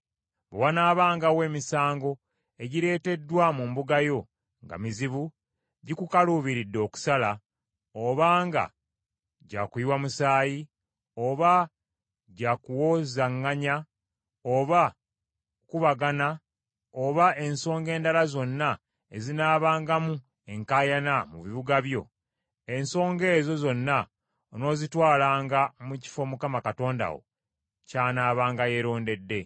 Bwe wanaabangawo emisango egireeteddwa mu mbuga yo nga mizibu gikukaluubiridde okusala, oba nga gya kuyiwa musaayi, oba gya kuwozaŋŋanya, oba kukubagana, oba ensonga endala zonna ezinaabangamu enkaayana mu bibuga byo, ensonga ezo zonna onoozitwalanga mu kifo Mukama Katonda wo ky’anaabanga yeerondedde.